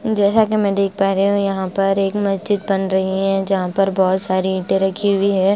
जैसा कि मैं देख पा रही हूं यहां पर एक मस्जिद बन रही हैं जहां पर बहोत सारी ईटे रखी हुई है।